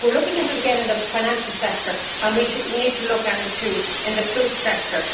We are looking at it again in the financial sector, and we also need to look at it in the food sector.